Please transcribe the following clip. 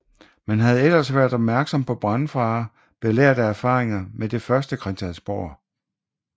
Man havde ellers været opmærksom på brandfare belært af erfaringer med det første Christiansborg